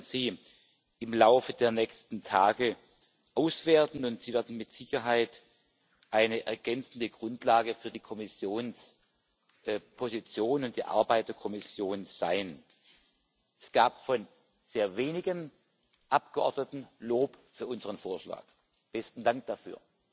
Wir werden sie im Laufe der nächsten Tage auswerten, und sie werden mit Sicherheit eine ergänzende Grundlage für die Kommissionsposition und die Arbeit der Kommission sein. Es gab von sehr wenigen Abgeordneten Lob für unseren Vorschlag besten Dank dafür.